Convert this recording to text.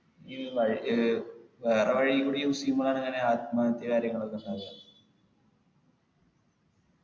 ഈ വാ ഒര് വേറെ വഴി കൂടി use ചെയ്യുമ്പോഴാണ് അങ്ങനെ ആത്മഹത്യ കാര്യങ്ങളൊക്കെ ഉണ്ടാവുക